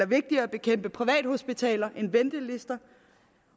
vigtigere at bekæmpe privathospitaler end ventelister